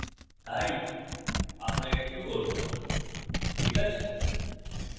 তাই আমরা এটি করব so ঠিক আছে